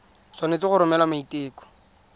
o tshwanetse go romela maiteko